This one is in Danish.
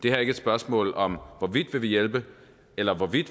er ikke et spørgsmål om hvorvidt vi vil hjælpe eller hvorvidt